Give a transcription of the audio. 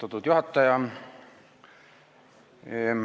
Austatud juhataja!